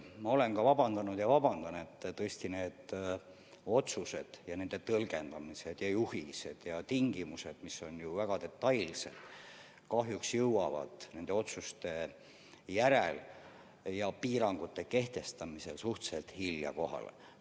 Ma olen vabandanud ja vabandan praegugi, et tõesti otsused ja nende tõlgendamised, juhised ja tingimused, mis on ju väga detailsed, kahjuks jõuavad otsuste tegemise ja piirangute kehtestamise järel suhteliselt hilja kohale.